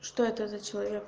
что это за человек